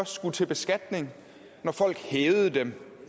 skulle til beskatning når folk hævede dem